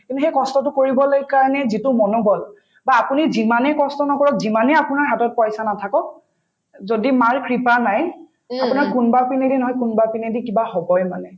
তুমি সেই কষ্টতো কৰিবলৈ কাৰণে যিটো মনোবল বা আপুনি যিমানে কষ্ট নকৰক যিমানে আপোনাৰ হাতত পইচা নাথাকক যদি মাৰ কৃপা নাই আপোনাক কোনবাই পিনেদি নহয় কোনবা পিনেদি কিবা হবয়ে মানে